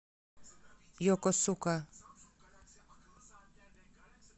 йокосука